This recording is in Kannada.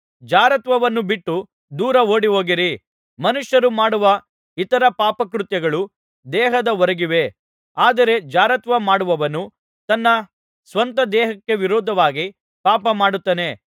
ಜಾರತ್ವವನ್ನು ಬಿಟ್ಟು ದೂರ ಓಡಿಹೋಗಿರಿ ಮನುಷ್ಯರು ಮಾಡುವ ಇತರ ಪಾಪಕೃತ್ಯಗಳು ದೇಹದ ಹೊರಗಿವೆ ಆದರೆ ಜಾರತ್ವ ಮಾಡುವವನು ತನ್ನ ಸ್ವಂತ ದೇಹಕ್ಕೆ ವಿರೋಧವಾಗಿ ಪಾಪ ಮಾಡುತ್ತಾನೆ